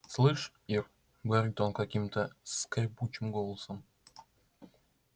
слышь ир говорит он каким-то скрипучим голосом